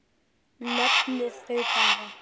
Nefnið þau bara.